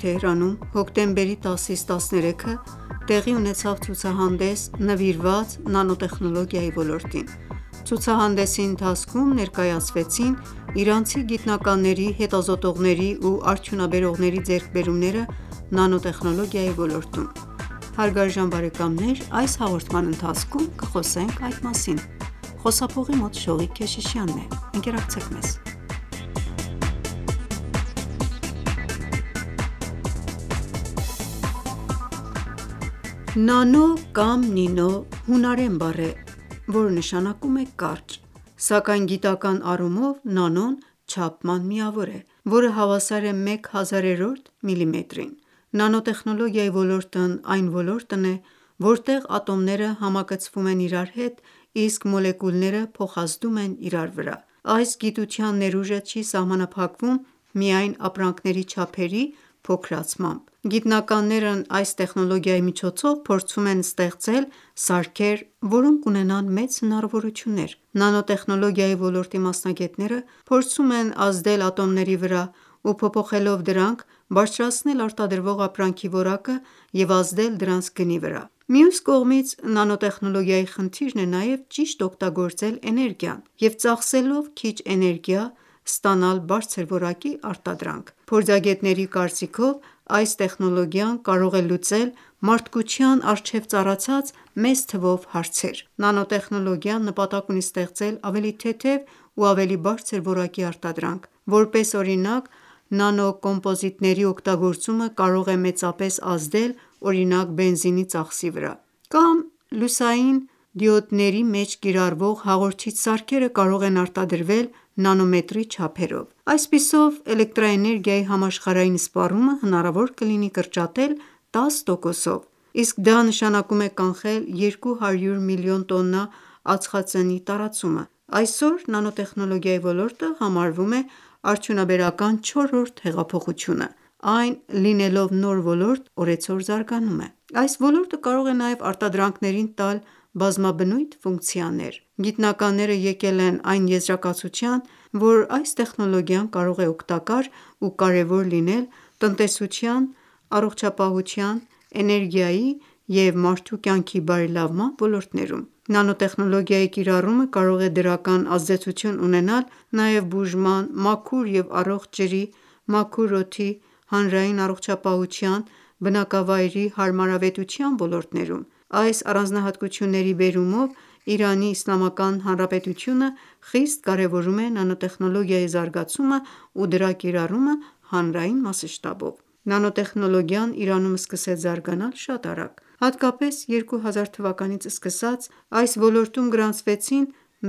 Թեհրանում, հոկտեմբերի 10-13-ը տեղի ունեցավ ցուցահանդես՝ նվիրված նանոտեխնոլոգիայի ոլորտին։ Ցուցահանդեսի ընթացքում ներակայացվեցին իրանցի գիտնականների, հետազոտողների ու արդյունաբերողների ձեռքբերումները՝ նանոտեխնլոգիայի ոլորտում: Նանո կամ նինո, հունարեն բառ է, որ նշանակում է կարճ: Սակայն գիտական առումով, նանոն չափման միավոր է, որը հավասար է մեկ հազարերորդ միլիմետրին: Նանոտեխնոլոգիայի ոլորտն այն ոլորտն է, որտեղ ատոմները համակցվում են իրար հետ, իսկ մոլեկուլները փոխազդում են իրար վրա: Այս գիտության ներուժը չի սահմանափակվում միայն ապրանքների չափերի փոքրացմամբ: Գիտնականներն այս տեխնոլոգիայի միջոցով փորձում են ստեծել սարքեր, որոնք ունենան մեծ հնարավորություններ: Նանոտխենոլոգիայի ոլորտի մասնագետները, փորձում են ազդել ատոմների վրա ու փոփոխելով դրանք, բարձրացնել արտադրվող ապրանքի որակը և ազդել դրանց գնի վրա: Մյուս կողմից, նանոտեխնոլոգիայի խնդիրն է նաև ճիշտ օգտագործել էներգիան և ծախսելով քիչ էներգիա, ստանալ բարձր որակի արտադրանք: Փորձագետների կարծիքով, այս տեխնոլոգիան կարող է լուծել մարդկության առջև ծառացած մեծ թվով հարցեր: Նանոտեխնոլոգիան նպատակ ունի ստեղծել ավելի թեթև ու ավելի բարձր որակի արտադրանք: Որպես օրինակ, նանոկոմպոզիտների օգտագործումը կարող է մեծապես ազդել օրինակ բենզինի ծախսի վրա, կամ լուսային դիոդների մեջ կիրառվող հաղորդիչ սարքերը կարող են արտադրվել նանոմետրի չափերով: Այդպիսով, էլեկտրանէինեգիայի համաշխարհային սպառումը հնարավոր կլինի կրճատել 10 տոկոսով: Իսկ դա նշանակում, է կանխել 200 միլիոն տոննա ածխածնի տարածումը: Այսօր նանոտեխնոոգիայի ոլորտը համարվում է արդյունաբերական չորրորդ հեղափոխությունը: Այն լինելով նոր ոլորտ, օրեցօր զարգանում է: Այս ոլորտը կարող է նաև արտադրանքներին տալ բազմաբնույթ ֆունկցիաներ: Գիտնականները եկել են այն եզրակացության, որ այս տեխնոլոգիան կարող է օգտակար ու կարևոր լինել տնտեսության, առողջապահության, էներգիայի և մարդու կյանքի բարելավման ոլորտներում: Նանոտեխնոլոգիայի կիրառումը կարող է դրական ազդեցություն ունենալ նաև բուժման, մաքուր և առողջ ջրի, մաքուր օդի, հանրային առողջապահության, բնակավայրի հարամարավետության ոլորտներում: Այս առանձնահատկությունների բերումով, ԻԻՀ խիստ կարևորում է նանոտեխնոլոգիայի զագացումն ու դրա կիրառումը հանրային մասշտաբով: Նանոտեխնոլոգիան Իրանում սկսեց զարգանալ շատ արագ: Հատկապես 2000 թվականից սկսած, այս ոլորտում գրանցվեցին